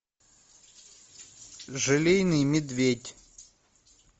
желейный медведь